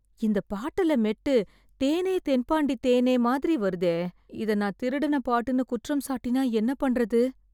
இந்த பாட்டுல மெட்டு தேனே தென்பாண்டித்தேனே மாதிரி வருதே. இதை நான் திருடின பாட்டுனு குற்றம் சாட்டினா என்ன பண்றது